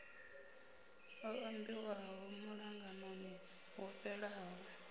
o ambiwaho muṱanganoni wo fhelaho